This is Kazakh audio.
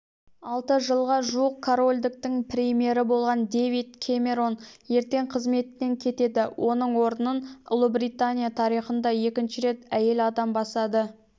алты жылға жуық корольдіктің премьері болған дэвид кэмерон ертең қызметінен кетеді оның орнын ұлыбритания тарихында екінші рет әйел адам басады